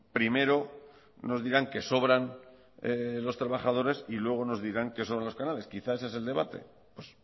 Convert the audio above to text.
primero nos dirán que sobran los trabajadores y luego nos dirán que sobran los canales quizás ese es el debate pues